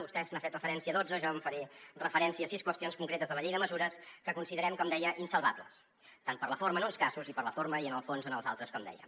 vostè n’ha fet referència a dotze jo faré referència a sis qüestions concretes de la llei de mesures que considerem com deia insalvables tant per la forma en uns casos i per la forma i en el fons en els altres com deia